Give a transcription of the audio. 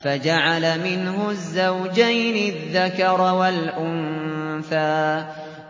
فَجَعَلَ مِنْهُ الزَّوْجَيْنِ الذَّكَرَ وَالْأُنثَىٰ